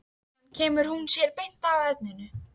Síðan kemur hún sér beint að efninu.